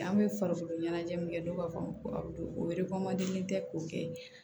An bɛ farikolo ɲɛnajɛ min kɛ dɔw b'a fɔ o tɛ k'o kɛ